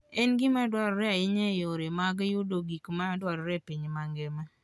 En gima duong' ahinya e yore mag yudo gik madwarore e piny mangima.